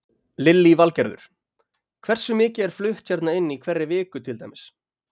Lillý Valgerður: Hversu mikið er flutt hérna inn í hverri viku til dæmis?